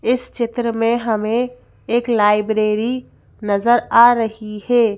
इस चित्र में हमें एक लाइब्रेरी नजर आ रही है।